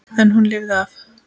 En hún lifði af.